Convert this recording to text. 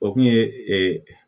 O kun ye